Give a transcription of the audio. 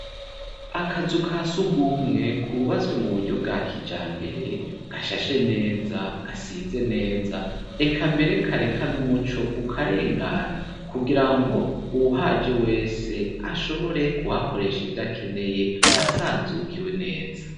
Akazu ka sugumwe kubazwe mu buryo bwa kijambere, gashashe neza gasize neza .Reka mbere kareka n'umuco ukarengana kugira ngo uwuhaje wese ashobore kuhakoresha ivyakeneye asanzukiwe neza.